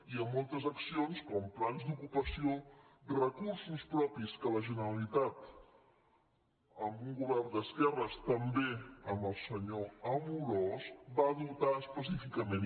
i a moltes accions com plans d’ocupació recursos propis que la generalitat amb un govern d’esquerres també amb el senyor amorós va dotar específicament